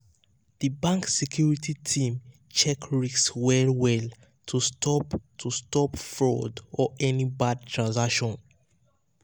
the bank security team check risk well well um to stop to stop fraud or any bad transaction.